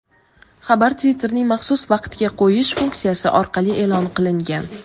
xabar Twitterning maxsus vaqtga qo‘yish funksiyasi orqali e’lon qilingan.